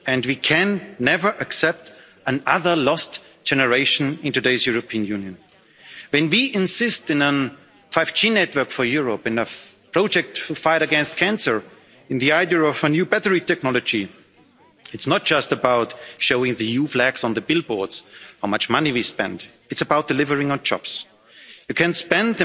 We can never accept another lost generation in today's European Union. When we insist on a 5G network for Europe, and a project to fight against cancer, and the idea of a new battery technology, it's not just about showing EU flags on billboards and how much money we spend, it's about delivering on jobs. You can spend